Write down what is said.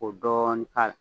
O dɔɔni k'a la.